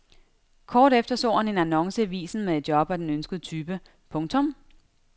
Kort efter så han en annonce i avisen med et job af den ønskede type. punktum